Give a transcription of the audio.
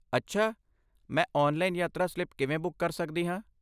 ਅੱਛਾ! ਮੈਂ ਔਨਲਾਈਨ ਯਾਤਰਾ ਸਲਿੱਪ ਕਿਵੇਂ ਬੁੱਕ ਕਰ ਸਕਦੀ ਹਾਂ?